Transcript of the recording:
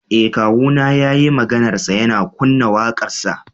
Eh kawuna yayi maganarsa yana kunna wakarsa.